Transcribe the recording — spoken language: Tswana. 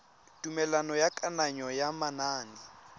tumelelo ya kananyo ya manane